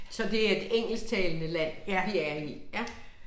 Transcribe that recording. Så det et engelsktalende land, vi er i